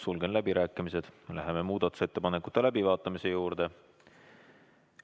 Sulgen läbirääkimised ja läheme muudatusettepanekute läbivaatamise juurde.